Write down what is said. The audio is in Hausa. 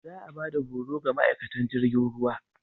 Za a ba da horo ga ma'aikatan jirgin ruwa.